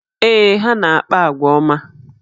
Ee, ha na-akpa àgwà ọma